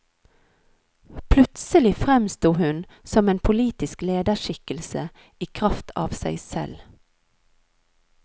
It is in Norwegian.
Plutselig fremsto hun som en politisk lederskikkelse i kraft av seg selv.